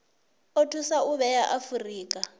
o thusa u vhea afurika